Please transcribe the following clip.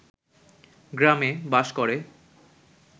গ্রামে বাস করে।